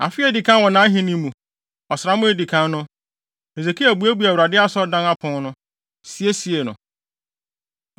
Afe a edi kan wɔ nʼahenni mu, ɔsram a edi kan no, Hesekia buebuee Awurade Asɔredan apon no, siesiee no.